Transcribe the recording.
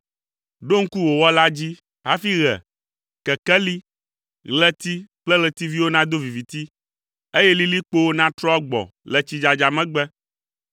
Ɖo ŋku wò Wɔla dzi hafi ɣe, kekeli, ɣleti kple ɣletiviwo nado viviti, eye lilikpowo natrɔ agbɔ le tsidzadza megbe,